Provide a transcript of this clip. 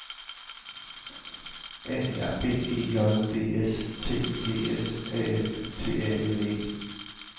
A R B E J D S T I D S A F T A L E